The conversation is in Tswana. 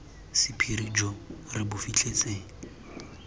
sephiri jo re bo fitlhetseng